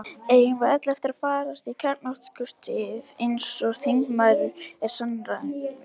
Eigum við öll eftir að farast í kjarnorkustríði, eins og þingmaðurinn er sannfærður um?